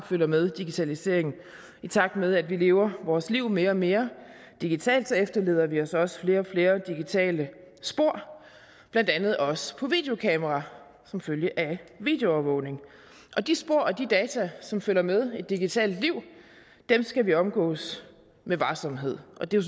følger med digitalisering i takt med at vi lever vores liv mere og mere digitalt efterlader vi os også flere og flere digitale spor blandt andet også på videokamera som følge af videoovervågning og de spor og de data som følger med et digitalt liv skal vi omgås med varsomhed og det er